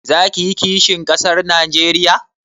Za ka yi kisihin ƙasar Najeriya?